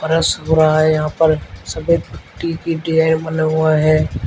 फरश हो रहा है यहां पर सफेद पट्टी हुआ है।